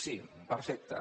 sí perfecte